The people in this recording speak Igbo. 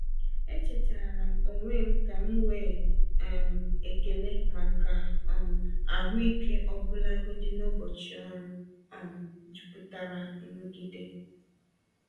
Echetaara m onwe m ka m nwee um ekele maka um ahụike ọbụlagodi n’ụbọchị ọrụ um jupụtara nrụgide.